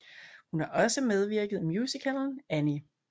Hun har også medvirket i musicalen Annie